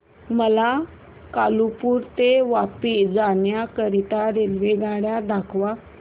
मला कालुपुर ते वापी जाण्या करीता रेल्वेगाड्या दाखवा